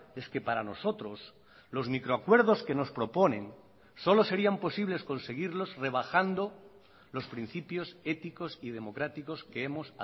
es que para nosotros los micro acuerdos que nos proponen solo serían posibles conseguirlos rebajando los principios éticos y democráticos que hemos